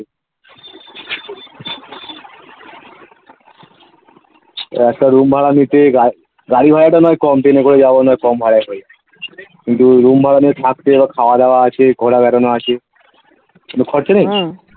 একটা room ভাড়া নিতে গাড়ি গাড়ি ভাড়াটা না হয় কম ট্রেনে করে যাবো নয় কম ভাড়ায় হয়ে যাবে কিন্তু room ভাড়া নিয়ে থাকতে এবার খাওয়া দাওয়া আছে ঘোরা বেড়ানো আছে খরচা নেই